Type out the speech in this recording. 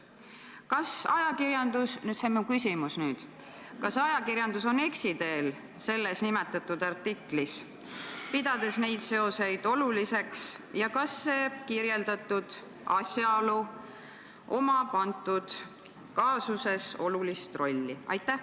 " Kas ajakirjandus on selles artiklis eksiteel, pidades neid seoseid oluliseks, ja kas sellel kirjeldatud asjaolul on antud kaasuses oluline roll?